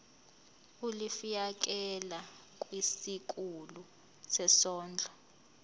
ulifiakela kwisikulu sezondlo